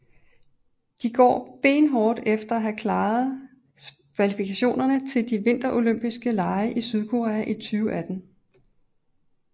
De går benhårdt efter at klare kvalifikationen til De Vinterolympiske lege i Sydkorea i 2018